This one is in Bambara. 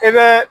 E bɛ